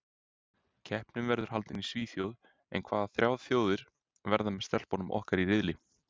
Keppnin verður haldin í Svíþjóð en hvaða þrjár þjóðir verða með stelpunum okkar í riðli?